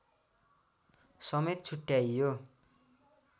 समेत छुट्ट्याइयो